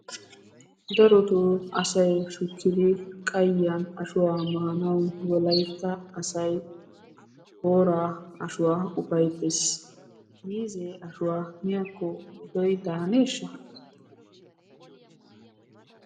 Darotoo asay shukkidi qayiya ashuwa maanawu wolaitta asay booraa ashuwaa ufayttees. Miizze ashuwaa miyakko metoy daaneesha.